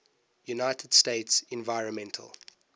united states environmental